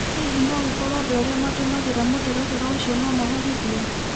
Hihi no gũkorwo andũ arĩa matũmagĩra mũtaratara ũcio no maherithyo.